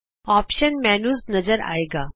options menu ਨਜ਼ਰ ਆਏਗਾ